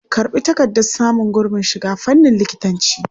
Karɓi takardar samun gurbin shiga fannin likitancinki!